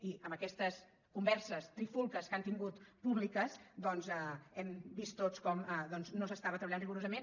i amb aquestes converses trifulgues que han tingut públiques hem vist tots com no s’estava treballant rigorosament